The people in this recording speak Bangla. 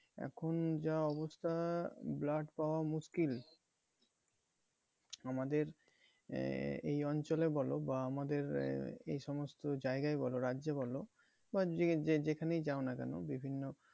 এখন যা অবস্থা blood পাওয়া মুশকিল আমাদের এই অঞ্চলে বলো বা আমাদের এই সমস্ত জায়গায় বলো রাজ্যে বলো বা যেখানেই যাও না কেন বিভিন্ন